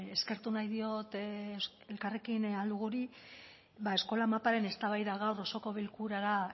eskertu nahi diot elkarrekin ahal duguri eskola maparen eztabaida gaur osoko bilkurara